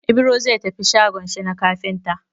Ibro zai tafi shagon shi na kafinta.